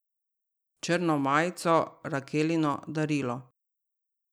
Črno majico, Rakelino darilo.